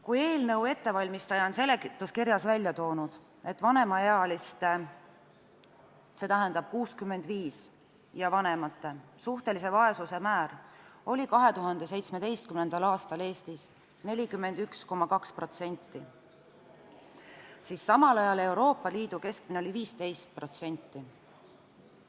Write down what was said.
Kui eelnõu ettevalmistaja on seletuskirjas välja toonud, et vanemaealiste, st 65-aastaste ja vanemate suhtelise vaesuse määr oli 2017. aastal Eestis 41,2%, siis Euroopa Liidu keskmine oli samal ajal 15%.